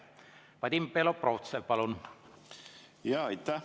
Vadim Belobrovtsev, palun!